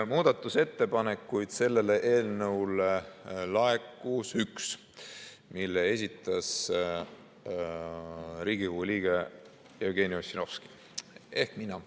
Muudatusettepanekuid selle eelnõu kohta laekus üks, mille esitas Riigikogu liige Jevgeni Ossinovski ehk mina.